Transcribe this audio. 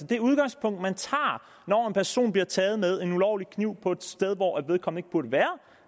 det udgangspunkt man har når en person bliver taget med en ulovlig kniv på et sted hvor vedkommende burde være